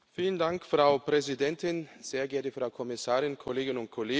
Frau Präsidentin, sehr geehrte Frau Kommissarin, Kolleginnen und Kollegen!